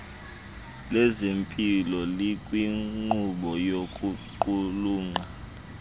lezempilo likwinkqubo yokuqulunqa